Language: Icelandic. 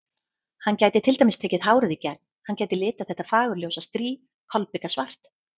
Hann gæti til dæmis tekið hárið í gegn, hann gæti litað þetta fagurljósa strý kolbikasvart.